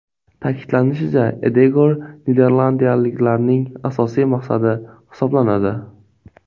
Ta’kidlanishicha, Edegor niderlandiyaliklarning asosiy maqsadi hisoblanadi.